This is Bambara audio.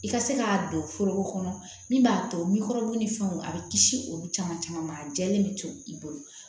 I ka se k'a don foroko kɔnɔ min b'a to mikɔrɔbu ni fɛnw a bɛ kisi olu caman caman ma a jɛlen bɛ to i bolo